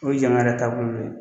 O ye jamana yɛrɛ taabolo dɔ ye.